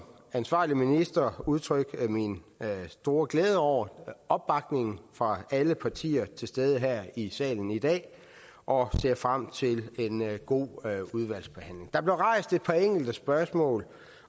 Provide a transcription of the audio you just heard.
ansvarlig minister udtrykke min store glæde over opbakningen fra alle partier til stede her i salen i dag og ser frem til en god udvalgsbehandling der blev rejst et par enkelte spørgsmål